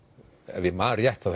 ef ég man rétt þá